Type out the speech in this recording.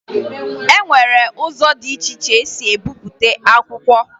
E nwere ụzọ dị iche iche e si ebipụta akwụkwọ